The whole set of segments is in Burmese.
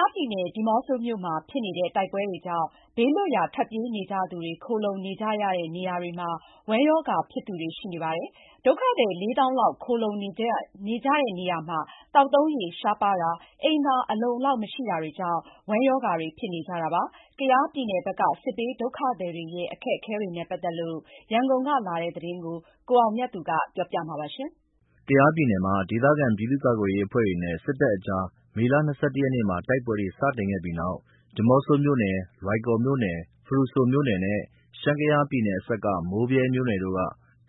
ားပြည်နယ်၊ ဒီးမော့ဆိုမြို့မှာ ဖြစ်နေတဲ့ တိုက်ပွဲတွေကြောင့် ဘေးလွတ်ရာ ထွက်ပြေးနေကြသူတွေ ခိုလှုံနေကြရတဲ့နေရာတွေမှာ ဝမ်းရောဂါဖြစ်သူတွေ ရှိနေပါတယ်။ ဒုက္ခသည် ၄၀,၀၀၀ လောက် ခိုလှုံနေကြတဲ့နေရာမှာ သောက်သုံးရေ ရှားပါးတာ၊ အိမ်သာအလုံအလောက်မရှိတာကြောင့် ဝမ်းရောဂါတွေဖြစ်နေကြတာပါ။ ကယားပြည်နယ်ဘက်က စစ်ဘေးဒုက္ခသည်တွေရဲ့ အခက်အခဲနဲ့ ပတ်သက်လို့ ရန်ကုန်ကလာတဲ့သတင်းကို ကိုအောင်မြတ်သူကပြောပြပါတယ်။ ကယားပြည်နယ်မှာ ဒေသခံပြည်သူ့ကာကွယ်ရေးအဖွဲ့တွေနဲ့ စစ်တပ်ကြား မေလ ၂၁ ရက်နေ့မှာ တိုက်ပွဲတွေ စတင်ခဲ့ပြီးနောက် ဒီးမော့ဆိုမြို့နယ်၊ လွိုင်ကော်မြို့နယ်၊ ဖရူဆိုမြို့နယ်နဲ့ ရှမ်း-ကယားပြည်နယ်အစပ်က မိုးဗြဲမြို့နယ်တို့က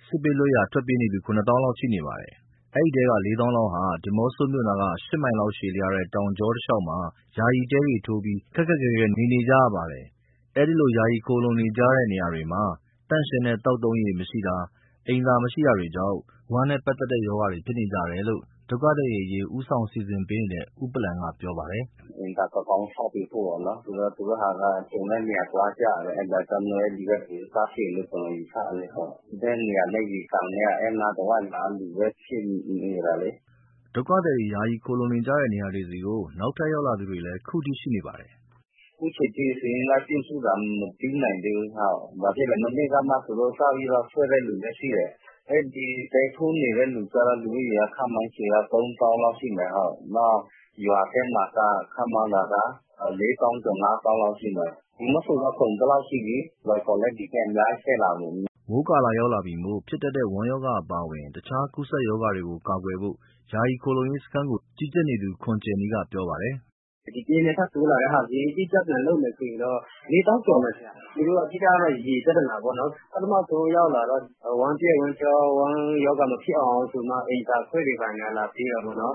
စစ်ဘေးလွတ်ရာ ထွက်ပြေးနေသူ ၇၀,၀၀၀ လောက်ရှိနေပါတယ်။ အဲဒီထဲက ၄၀,၀၀၀ လောက်ဟာ ဒီမော့ဆိုမြို့နားက ရှစ်မိုင်လောက်ရှည်လျားတဲ့ တောင်ကြောတလျှောက်မှာ ယာယီတဲတွေ ထိုးပြီး ခက်ခက်ခဲခဲ နေနေကြရပါတယ်။ အဲဒီလို ယာယီခိုလှုံနေကြရတဲ့နေရာတွေမှာ သန့်ရှင်းတဲ့ သောက်သုံးရေး မရှိတာ၊ အိမ်သာမရှိတာတွေကြောင့် ဝမ်းနဲ့ပက်သက်တဲ့ ရောဂါတွေ ဖြစ်နေကြတယ်လို့ ဒုက္ခသည်တွေအရေး ဦးဆောင် စီစဉ်ပေးနေတဲ့ ဦးပလန်က ပြောပါတယ်။ “အိမ်သာ ကောင်းကောင်း ဆောက်ပေးဖို့ပေါ့နော်... ဆိုတော့ သူတို့ဟာက ကြုံတဲ့နေရာ သွားကြတယ်။ ဒါကြောင့်မို့ ဒီဘက် (ဝမ်းရောဂါ) စဖြစ်တယ်လို့ ကျနော်ယူဆတယ်။ ဒီဘက်နေရာနဲ့ ရေကန်နဲ့က အဲဒီအနားတဝိုက်က လူလည်း ဖြစ်နေတာလေ။” ဒုက္ခသည်တွေ ယာယီခိုလှုံနေကြတဲ့ နေရာတွေဆီ နောက်ထပ်ရောက်လာသူတွေလည်း အခုထိ ရှိနေပါတယ်။ “အခုအချိန်အထိ စာရင်းလိုက်ပြုစုတာ မပြီးနိုင်သေးဘူး၊ လာဖြစ်လို့လဲဆိုတော့ မနေ့ကမှ စပြီးထွက်လာသူလည်း ရှိတယ်။ တဲထိုးနေတဲ့သူက ခန့်မှန်းခြေ ၃၀,၀၀၀ လောက်ရှိမယ်။ နောက်ရွာထဲမှာက ခန့်မှန်းတာက ၄၀,၀၀၀ ကျော်၊ ၅၀,၀၀၀ လောက်ရှိမယ်။ ဒီးမော့ဆိုလည်း ကုန်သလောက်ရှိပြီ။ လွိုင်ကော်လည်း ဒီဘက် အများကြီးတက်လာပြီ။ မနေ့ကနဲ့ သန်ဘက်ခါ အများစုက လွိုင်ကော်။” မိုးကာလရောက်လာပြီမို့ ဖြစ်တတ်တဲ့ ဝမ်းရောဂါအပါအဝင် တခြားကူးစက်ရောဂါတွေကို ကာကွယ်ဖို့ ယာယီခိုလှုံရေးစခန်းကို ကြီးကြပ်နေသူ ခွန်ကြယ်နီက ပြောပါတယ်။ “ဒီတရက်၊ နှစ်ရက် ထပ်တိုးလာတဲ့ဟာ အတိအကျစာရင်း ပြန်လုပ်မယ်ဆိုရင်တော့ ၄၀,၀၀၀ ကျော်မယ်။ အဓိကတော့ ရေပြဿနာပေါ့နော်။ ပထမဆုံး ရောက်လာတော့ ဝမ်းပျက်ဝမ်းလျှော၊ ဝမ်းရောဂါ မဖြစ်အောင်ဆိုပြီးမှ အိမ်သာခွက်တွေ လာပေးကြတာပေါ့နော်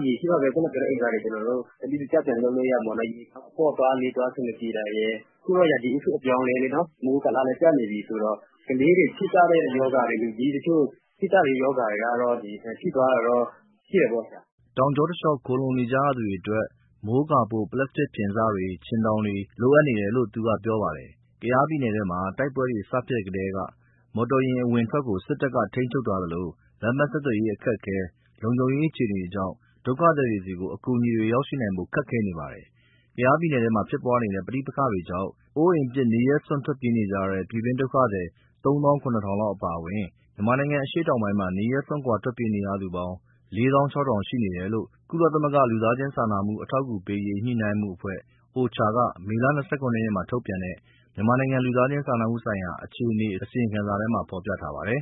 ။ ရေရှိမှပဲ ခုဏကပြောတဲ့ အိမ်သာတွေ ကျနော်တို့ စနစ်တကျ ပြန်လုပ်လို့ရမှာပေါ့နော်။ အပေါ့သွား၊ အလေးသွား အဆင်မပြေတာရယ်၊ အခုတော့ ရာသီဥတု အပြောင်းအလဲလေနော် မိုးကာလလည်း ကျနေပြီဆိုတော့ ကလေးတွေဖြစ်တဲ့ ရောဂါတွေ၊ လူကြီးတချို့ ဖြစ်ကြတဲ့ ရောဂါတွေက ဖြစ်သွားတာတော့ ရှိတယ်။” တောင်ကြောတလေ ျှာက် ခိုလှုံနေကြရသူတွေအတွက် မိုးကာဖို့ ပလပ်စတစ် ဖျင်စတွေ၊ ခြင်ထောင်တွေ လိုအပ်နေတယ်လို့ သူကပြောပါတယ်။ ကယားပြည်နယ်မှာ တိုက်ပွဲတွေ စဖြစ်ထဲက မော်တော်ယာဉ်အဝင်အထွက်ကို စစ်တပ်က ထိန်းချုပ်ထားသလို လမ်းပန်းဆက်သွယ်ရေး အခက်အခဲ၊ လုံခြုံရေး အခြေအနေတွေကြောင့် ဒုက္ခသည်တွေဆီ အကူအညီရောက်ရှိနိုင်ဖို့ ခက်ခဲနေပါတယ်။ ကယားပြည်နယ်ထဲမှာ ဖြစ်ပွားနေတဲ့ ပဋိပက္ခတွေကြောင့် အိုးအိမ်ပစ် နေရပ်စွန့် ထွက်ပြေးနေရတဲ့ ပြည်တွင်းဒုက္ခသည် ၃၇,၀၀၀ လောက် အပါအဝင် မြန်မာနိုင်ငံ အရှေ့တောင်ပိုင်းမှာ နေရပ်စွန့် ထွက်ပြေးနေရသူ ၄၆,၀၀၀ လောက်ရှိနေတယ်လို့ ကုလသမဂ္ဂ လူသားချင်းစာနာမှု အထောက်အကူပေးရေး ညှိနှိုင်းမှုအဖွဲ့OCHA က မေလ ၂၇ ရက်မှာထုတ်ပြန်တဲ့ မြန်မာနိုင်ငံ လူသားချင်းစာနာမှုဆိုင်ရာ အခြေအနေ အစီရင်ခံစာမှာ ဖော်ပြထားပါတယ်